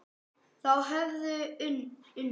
Þau höfðu unnið.